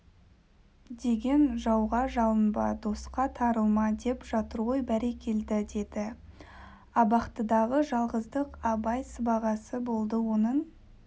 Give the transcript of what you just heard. деген жауға жалынба досқа тарылма деп жатыр ғой бәрекелді деді абақтыдағы жалғыздық абай сыбағасы болды оның